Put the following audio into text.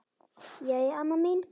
Jæja amma mín.